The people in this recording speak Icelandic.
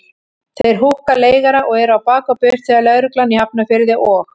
Þeir húkka leigara og eru á bak og burt þegar lögreglan í Hafnarfirði og